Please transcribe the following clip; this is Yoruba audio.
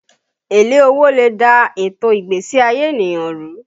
Èlé owó lè dà ètò ìgbésí ayé ènìyàn rú